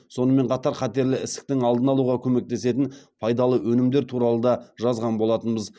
сонымен қатар қатерлі ісіктің алдын алуға көмектесетін пайдалы өнімдер туралы да жазған болатынбыз